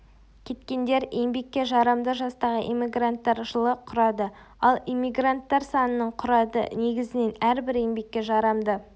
кеткендер еңбекке жарамды жастағы иммигранттар жылы құрады ал эммигранттар санының құрады негізінен әрбір еңбекке жарамды